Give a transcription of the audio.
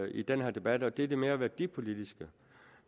i den her debat og det er det mere værdipolitiske